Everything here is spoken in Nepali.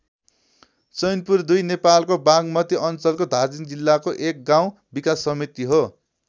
चैनपुर २ नेपालको बागमती अञ्चलको धादिङ जिल्लाको एक गाउँ विकास समिति हो।